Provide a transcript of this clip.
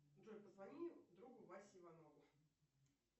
джой позвони другу васе иванову